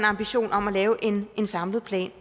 ambition om at lave en en samlet plan